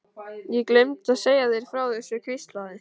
Ég gleymdi að segja þér frá þessu hvíslaði